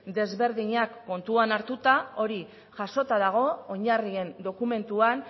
ezberdinak kontuan hartuta hori jasota dago oinarrien dokumentuan